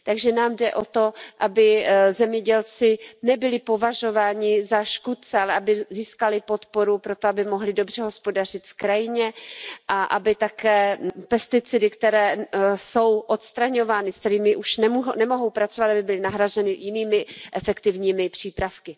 Takže nám jde o to, aby zemědělci nebyli považováni za škůdce, ale aby získali podporu pro to, aby mohli dobře hospodařit v krajině a také aby pesticidy, které jsou odstraňovány, se kterými už nemohou pracovat, byly nahrazeny jinými, efektivními přípravky.